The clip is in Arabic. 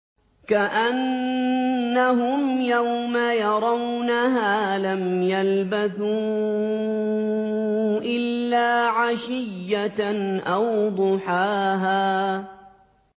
كَأَنَّهُمْ يَوْمَ يَرَوْنَهَا لَمْ يَلْبَثُوا إِلَّا عَشِيَّةً أَوْ ضُحَاهَا